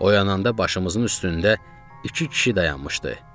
Oyananda başımızın üstündə iki kişi dayanmışdı.